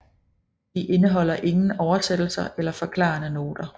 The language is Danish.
De indeholder ingen oversættelser eller forklarende noter